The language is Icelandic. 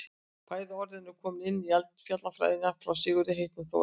bæði orðin eru komin inn í eldfjallafræðina frá sigurði heitnum þórarinssyni